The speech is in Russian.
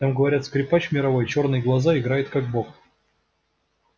там говорят скрипач мировой чёрные глаза играет как бог